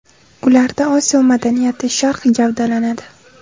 Ularda Osiyo madaniyati, Sharq gavdalanadi.